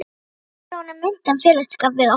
Ekki verður honum meint af félagsskap við okkur!